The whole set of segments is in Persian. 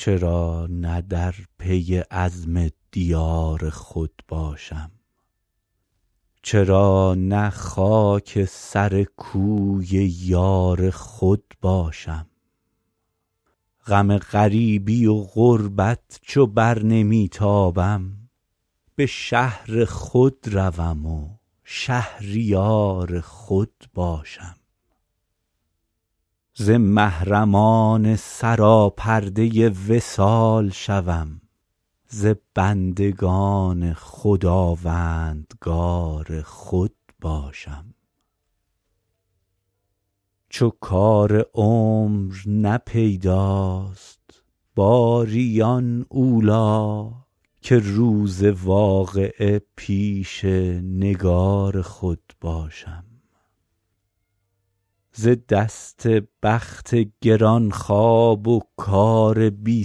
چرا نه در پی عزم دیار خود باشم چرا نه خاک سر کوی یار خود باشم غم غریبی و غربت چو بر نمی تابم به شهر خود روم و شهریار خود باشم ز محرمان سراپرده وصال شوم ز بندگان خداوندگار خود باشم چو کار عمر نه پیداست باری آن اولی که روز واقعه پیش نگار خود باشم ز دست بخت گران خواب و کار بی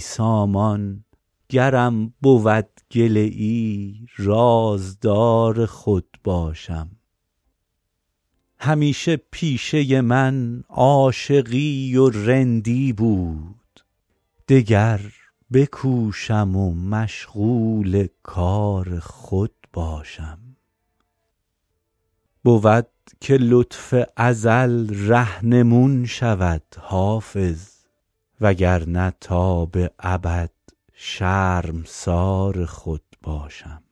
سامان گرم بود گله ای رازدار خود باشم همیشه پیشه من عاشقی و رندی بود دگر بکوشم و مشغول کار خود باشم بود که لطف ازل رهنمون شود حافظ وگرنه تا به ابد شرمسار خود باشم